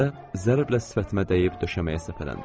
Dəstə zərblə sifətimə dəyib döşəməyə səpələndi.